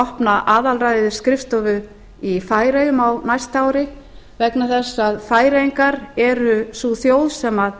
opna aðalræðisskrifstofu í færeyjum á næsta ári vegna þess að færeyingar er sú þjóð sem